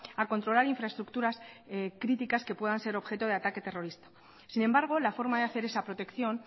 a controlar infraestructuras críticas que puedan ser objeto de ataque terrorista sin embargo la forma de hacer esa protección